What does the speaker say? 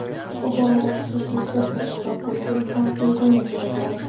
bu borada xususiy sektor ishtiroki uchun ham imkoniyat yaratildi.